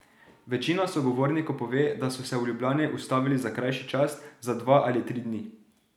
Večina sogovornikov pove, da so se v Ljubljani ustavili za krajši čas, za dva ali tri dni.